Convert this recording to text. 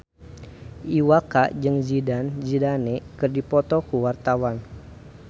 Iwa K jeung Zidane Zidane keur dipoto ku wartawan